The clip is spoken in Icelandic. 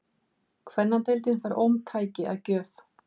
Kvennadeildin fær ómtæki að gjöf